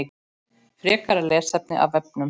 Frekara lesefni af vefnum